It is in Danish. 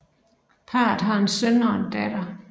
Parret har en søn og en datter